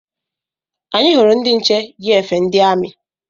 Anyị hụrụ ndị nche yi efe ndi amị